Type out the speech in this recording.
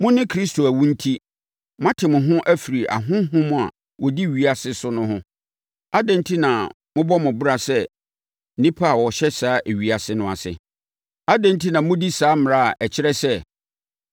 Mo ne Kristo awu enti, moate mo ho afiri ahonhom a wɔdi ewiase so no ho. Adɛn enti na mobɔ mo bra sɛ nnipa a wɔhyɛ saa ewiase no ase? Adɛn enti na modi saa mmara no a ɛkyerɛ sɛ,